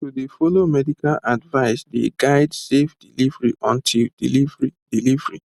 to dey follow medical advice dey guide safe delivery until delivery delivery